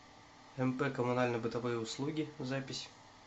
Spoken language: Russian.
мп коммунально бытовые услуги запись